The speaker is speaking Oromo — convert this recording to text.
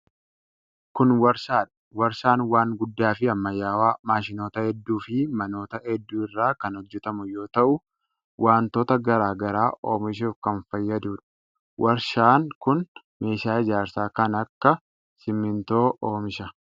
Kun warshaa dha. Warshaan waan guddaa fi ammayyawaa maashinoota hedduu fi manoota hedduu irraa kan hojjatamu yoo ta'u, wantoota garaa garaa oomishuuf kan fayyaduu dha. Warshaan kun meeshaa ijaarsaa kan akka simiintoo oomisha.